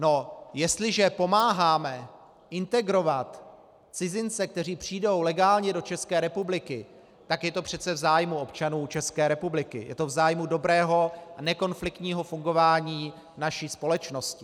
No, jestliže pomáháme integrovat cizince, kteří přijdou legálně do České republiky, tak je to přece v zájmu občanů České republiky, je to v zájmu dobrého a nekonfliktního fungování naší společnosti.